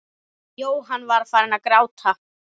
Jóhann var farinn að gráta.